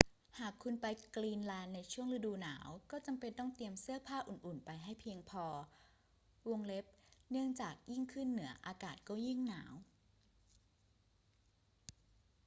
หากคุณไปกรีนแลนด์ช่วงฤดูหนาว ก็จำเป็นต้องเตรียมเสื้อผ้าอุ่น ๆ ไปให้เพียงพอ เนื่องจากยิ่งขึ้นเหนืออากาศก็ยิ่งหนาว